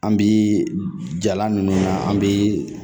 An bi jalan ninnu an bi